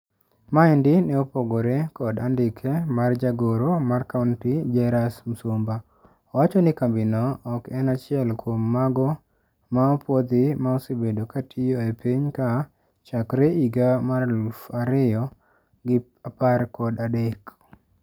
Maendi ne opogore kod andike mar jagoro mar kaunti Jairus Msumba. Owacho ni kambi no oken achiel kuom mago ma opuodhi ma osebedo katio e piny ka chakre higa mar eluf ario gi apar gadek.